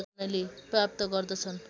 प्राप्त गर्दछन्